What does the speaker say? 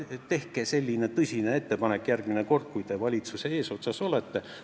Tehke selline tõsine ettepanek järgmine kord, kui te valitsuse eesotsas olete.